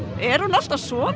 er hún alltaf svona